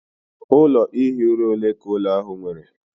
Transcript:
Ụlọ ihi ụra ole ka ụlọ ahụ nwere?